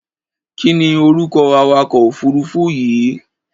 Kí ni orúkọ awakọ̀-òfuurufú yìí?